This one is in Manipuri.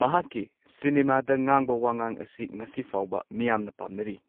ꯃꯍꯥꯛꯀꯤ ꯁꯤꯅꯦꯃꯥꯗ ꯉꯥꯡꯕ ꯋꯉꯥꯡ ꯑꯁꯤ ꯉꯁꯤ ꯐꯥꯎꯕ ꯃꯤꯌꯥꯝꯅ ꯄꯥꯝꯅꯔꯤ꯫